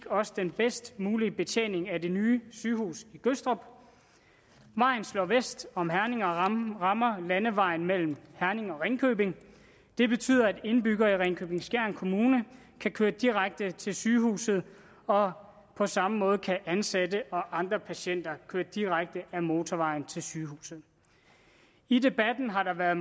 også den bedst mulige betjening af det nye sygehus i gødstrup vejen slår vest om herning og rammer landevejen mellem herning og ringkøbing det betyder at indbyggere i ringkøbing skjern kommune kan køre direkte til sygehuset og på samme måde kan ansatte og andre patienter køre direkte ad motorvejen til sygehuset i debatten har der været